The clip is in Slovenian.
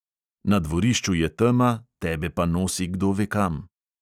Na dvorišču je tema, tebe pa nosi kdo ve kam ...